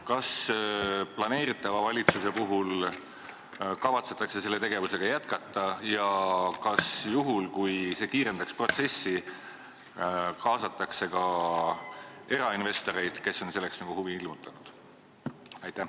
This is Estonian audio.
Kas planeeritav valitsus kavatseb seda tegevust jätkata ja kas juhul, kui see kiirendaks protsessi, kaasataks ka erainvestoreid, kes on selle vastu huvi ilmutanud?